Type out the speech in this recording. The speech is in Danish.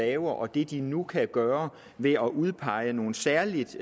laver og det de nu kan gøre ved at udpege nogle særligt